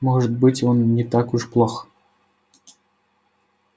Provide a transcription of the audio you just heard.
может быть он не так уж плох